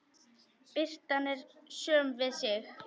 Birtan er söm við sig.